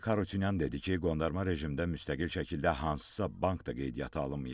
Arayik Harutyunyan dedi ki, qondarma rejimdə müstəqil şəkildə hansısa bank da qeydiyyata alınmayıb.